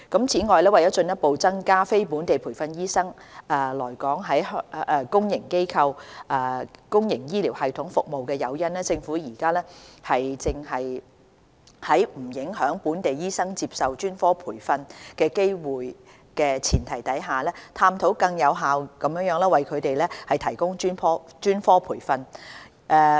此外，為了進一步增加非本地培訓醫生來港在公營醫療系統服務的誘因，政府現正在不影響本地醫生接受專科培訓機會的前提下，探討更有效地為他們提供專科培訓。